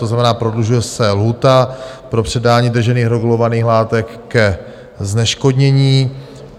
To znamená, prodlužuje se lhůta pro předání držených regulovaných látek ke zneškodnění.